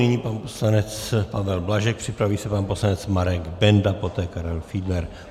Nyní pan poslanec Pavel Blažek, připraví se pan poslanec Marek Benda, poté Karel Fiedler.